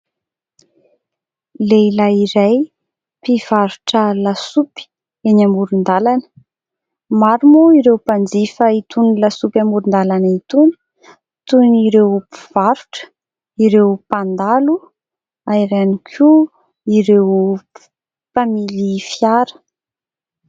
Lehilahy iray mpivarotra lasopy eny amoron-dalana. Maro moa ireo mpanjifa itony lasopy amoron-dalana itony toy ny ireo mpivarotra, ireo mpandalo na ihany koa ireo mpamily fiara.